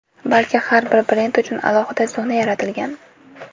Balki, har bir brend uchun alohida zona yaratilgan.